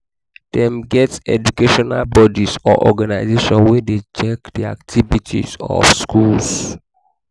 dem get educational bodies or organization wey de check the activities of schools